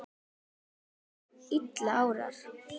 Líka þegar að illa árar?